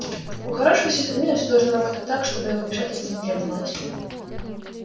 у хорошего сисадмина всё должно работать так чтобы его вмешательство не требовалось